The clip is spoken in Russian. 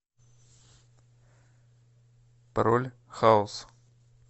пароль хаус